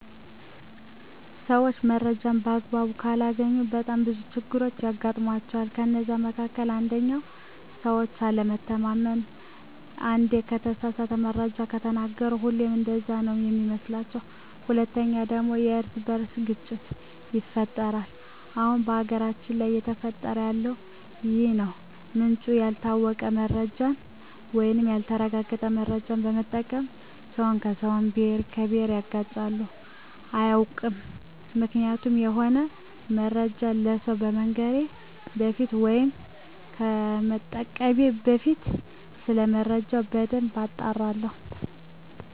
ሰዎች መረጃን በአግባቡ ካላገኙ በጣም ብዙ ችግሮች ያጋጥሟቸዋል ከነዛ መካከል አንደኛው በሰዎች አለመታመን አንዴ የተሳሳተ መረጃ ከተናገሩ ሁሌም እንደዛ ነው ሚመስሏቸዉ። ሁለተኛው ደግሞ የእርስ በእርስ ግጭት ይፈጠራል አሁን በሀገራችን ላይ እየተፈጠረ ያለው ይህ ነው ምንጩ ያልታወቀ መረጃን ወይም ያልተረጋገጠ መረጃ በመጠቀም ሰውን ከሰው፣ ብሄርን ከብሄር ያጋጫሉ። አያውቅም ምክንያቱም የሆነ መረጃን ለሰው ከመንገሬ በፊት ወይም ከመጠቀሜ በፊት ሰለመረጃው በደንብ አጣራለሁ።